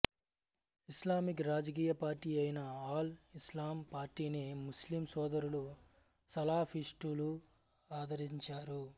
Islamic రాజకీయ party అయిన అల్ ఇస్లాం పార్టీని ముస్లిం సోదరులు సాలాఫిస్టులు ఆదరించారు